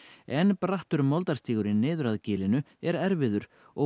en brattur niður að gilinu er erfiður og